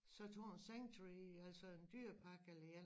Så tag en sanctuary altså en dyrepark eller